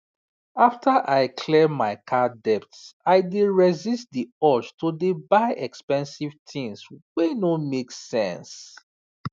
after i clear my card debt i dey resist the urge to dey buy expensive tins wey no make sense